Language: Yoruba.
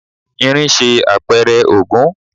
Irin ń ṣe àpẹrẹ Ògún.